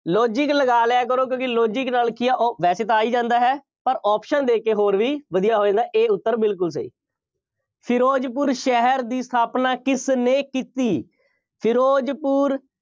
logic ਲਗਾ ਲਿਆ ਕਰੋ। ਕਿਉਂਕਿ logic ਨਾਲ ਕੀ ਆ ਉਹ ਵੈਸੇ ਤਾਂ ਆ ਹੀ ਜਾਂਦਾ ਹੈ। ਪਰ option ਦੇ ਕੇ ਹੋਰ ਵੀ ਵਧੀਆ ਹੋ ਜਾਂਦਾ। A ਉੱਤਰ ਬਿਲਕੁੱਲ ਸਹੀ। ਫਿਰੋਜ਼ਪੁਰ ਸ਼ਹਿਰ ਦੀ ਸਥਾਪਨਾ ਕਿਸਨੇ ਕੀਤੀ? ਫਿਰੋਜ਼ਪੁਰ